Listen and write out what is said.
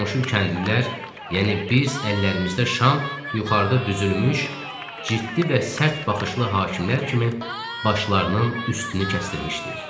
Qonşu kəndlilər, yəni biz əllərimizdə şam yuxarıda düzülmüş ciddi və sərt baxışlı hakimlər kimi başlarının üstünü kəstdirmişdik.